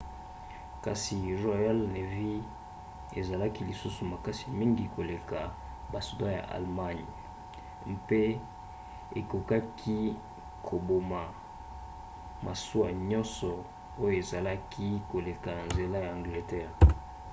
kasi royal navy ezalaki lisusu makasi mingi koleka basoda ya allemagne kriegsmarine mpe ekokaki koboma masuwa nyonso oyo ezalaki koleka na nzela ya angleterre